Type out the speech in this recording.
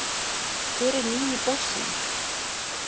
Hver er nýi bossinn